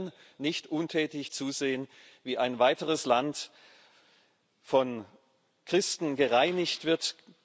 Wir können nicht untätig zusehen, wie ein weiteres Land von Christen gereinigt wird.